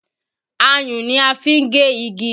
Ayùn ni a fi ń gé igi